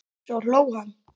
Svo hló hann.